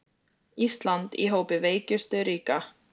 Ísland í hópi veikustu ríkja